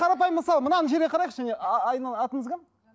қарапайым мысал мынаны жерге қарайықшы міне атыңыз кім